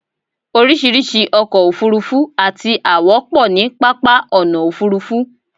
oríṣiríṣi ọkọ̀ òfurufú àti àwọ̀ pọ̀ ní pápá ọ̀nà òfurufú